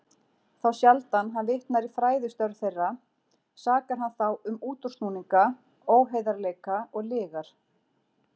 Þá sjaldan hann vitnar í fræðistörf þeirra, sakar hann þá um útúrsnúninga, óheiðarleika og lygar.